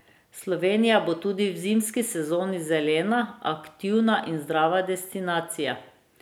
Slovenija bo tudi v zimski sezoni zelena, aktivna in zdrava destinacija.